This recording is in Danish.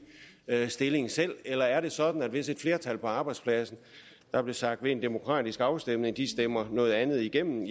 stillingtagen eller er det sådan at hvis et flertal på arbejdspladsen der blev sagt ved en demokratisk afstemning stemmer noget andet igennem